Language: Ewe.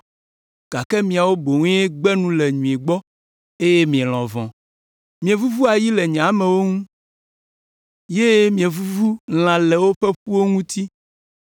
gake miawo boŋue gbe nu le nyui gbɔ eye mielɔ̃ vɔ̃. Mievuvu ayi le nye amewo ŋu ye mievuvu lã le woƒe ƒuwo ŋuti.